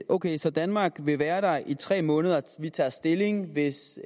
ok så danmark vil være der i tre måneder og vi tager stilling hvis